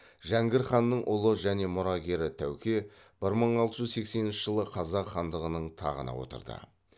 жәңгір ханның ұлы және мұрагері тәуке бір мың алты жүз сексенінші жылы қазақ хандығының тағына отырды